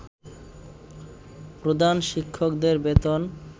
প্রধান শিক্ষকদের বেতন